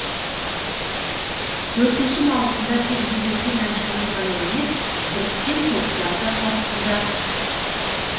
төртінші маусымда тек жекелеген әншілер ғана емес біріккен топтар да қатысуда